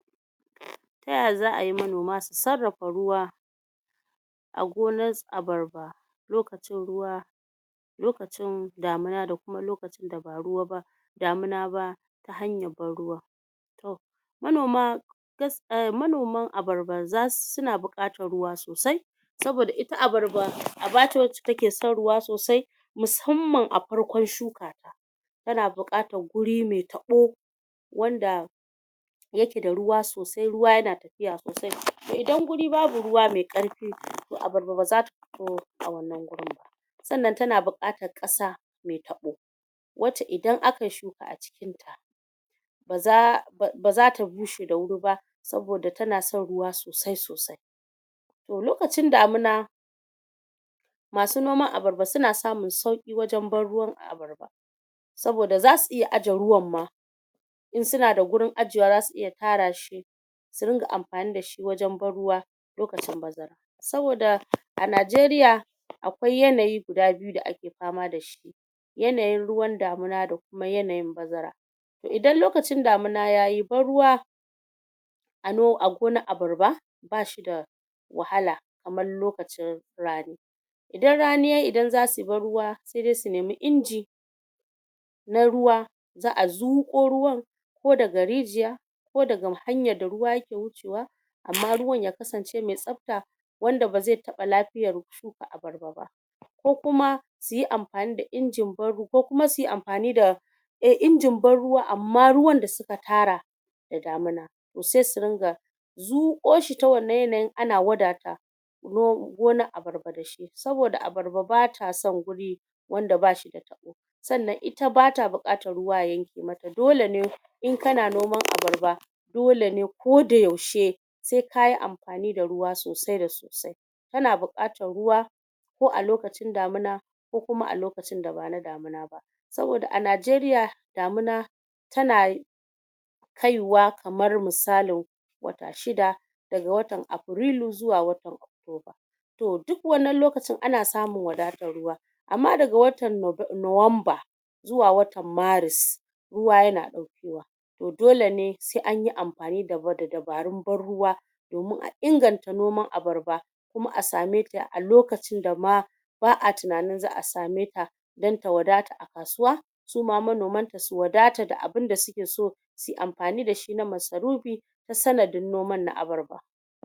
Ta ya za ai manoma su sarrafa ruwa a gonar abarba lokacin ruwa, lokacin damuna da kuma lokacin da ba ruwa ba damuna ba hanyar ban ruwa, to manoma gas...manoman abarba za su... suna buƙatar ruwa sosai, saboda ita abarba aba ce wacce ta ke son ruwa sosai, musamman a farkon shuka ta ta na buƙatar guri mai taɓo wanda ya ke da ruwa sosai ruwa ya na tafiya sosai, to idan guri babu ruwa mai ƙarfi to abarba ba za ta fito a wannan gurin ba, sannan ta na buƙatar ƙasa mai taɓo, wacce idan akayi shuka a cikinta ba za... ba za ta bushe da wuri ba, saboda ta na son ruwa sosai sosai, toh lokacin damuna ma su noman abarba su na samun sauƙi wajen ban ruwan abarba, saboda za su iya aje ruwan ma, in su na da gurin ajewa za su iya tara shi, su dinga amfani da shi wajen ban ruwa lokacin bazara, saboda a Nigeria akwai yanayi guda biyu da ake fama da shi, yanayin ruwan damina da kuma yanayin bazara, idan lokacin damuna yayi ban ruwa a no... a gonar abarba ba shi da wahala kamar lokacin rani, idan rani ya yi idan za su yi ban ruwa sai dai su nemi inji na ruwa za'a zuƙo ruwan ko daga rijiya, ko daga hanyar da ruwa ya ke wucewa, amma ruwan ya kasance mai tsafta, wanda ba zai taɓa lafiyar shuka abarba ba, ko kuma su yi amfani da injin ban ru.... ko kuma suyi amfani da eh injin ban ruwa amma ruwan da su ka tara da damuna, to sai su ringa zuƙo shi ta wannnan yanayin ana wadata gonar abarba da shi, saboda abarba ba ta son guri wanda ba shi da taɓo, sannan ita ba ta buƙatar ruwa ya yanke ma ta, dole ne in ka na noman abarba dole ne ko da yaushe sai ka yi amfani da ruwa sosai da sosai, ta na buƙatar ruwa ko a lokacin damuna ko kuma a lokacin da ba na damuna ba, saboda a Nigeria damuna ta na kaiwa kamar misalin wata shida, daga watan Aprilu zuwa watan October, to duk wannan lokacin ana samun wadatar ruwa, amma daga watan nowamba zuwa watan maris ruwa ya na ɗaukewa, to dole ne sai anyi amfani da dabarun ban ruwa domin a inganta noman abarba, kuma a sameta a lokacin da ma ba'a tunanin za'a sameta don ta wadata a kasuwa, suma manomanta su wadata da abinda su ke so, suyi amfani da shi na masarufi ta sanadin noman na abarba.